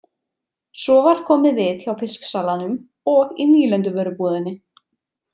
Svo var komið við hjá fisksalanum og í nýlenduvörubúðinni.